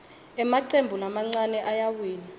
emacembu lamancane ayawina